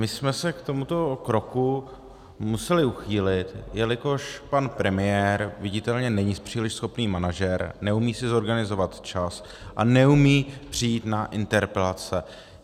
My jsme se k tomuto kroku museli uchýlit, jelikož pan premiér viditelně není příliš schopný manažer, neumí si zorganizovat čas a neumí přijít na interpelace.